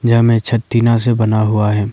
यहां में छत टीना से बना हुआ है।